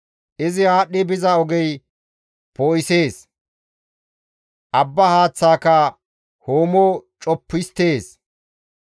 Izi aadhdhi biza ogey poo7isees; abba haaththaaka hoomo coppu histtees.